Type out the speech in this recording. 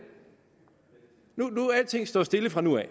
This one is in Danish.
alting står stille fra nu af